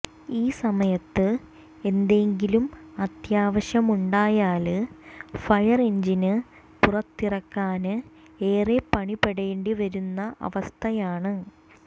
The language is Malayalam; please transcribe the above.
ഈ സമയത്ത് എന്തെങ്കിലും അത്യാവശ്യമുണ്ടായാല് ഫയര്എഞ്ചിന് പുറത്തിറക്കാന് ഏറെ പണിപ്പെടേണ്ടിവരുന്ന അവസ്ഥയാണ്